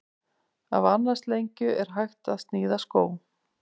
Af annars lengju er hægt að sníða skó.